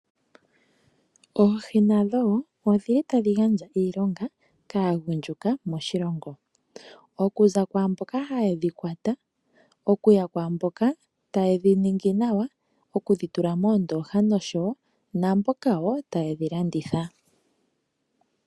Oohi nadho woo odhili tadhi gandja iilonga kaagundjuka moshilongo, okuza kwaamboka haye dhikwata okuya kwaamboka ta ye dhi ningi nawa okudhitula moondooha nosho wo naamboka wo taye dhilanditha.